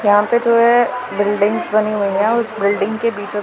यहां पे जो है बिल्डिंग्स बनी हुई है और बिल्डिंग के बीचो--